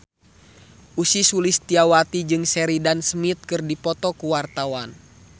Ussy Sulistyawati jeung Sheridan Smith keur dipoto ku wartawan